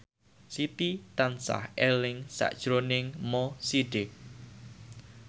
Siti tansah eling sakjroning Mo Sidik